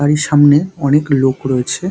বাাড়ির সামনে অনেক লোক রয়েছে।